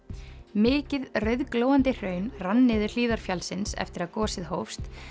mikið rauðglóandi hraun rann niður hlíðar fjallsins eftir að gosið hófst